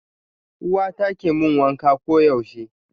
Uwata ke mun wanka koyaushe.